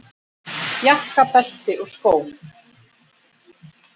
Jakka, belti og skó.